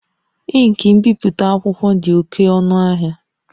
Ink ibipụta akwụkwọ dị oke ọnụ n'ahịa